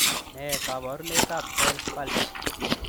Nee kabarunoikab Bell's palsy?